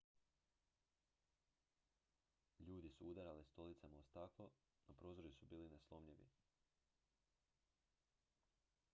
ljudi su udarali stolicama o staklo no prozori su bili neslomljivi